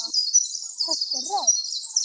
Þessi rödd!